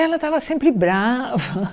Ela estava sempre brava.